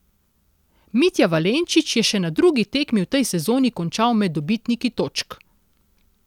Mitja Valenčič je še na drugi tekmi v tej sezoni končal med dobitniki točk.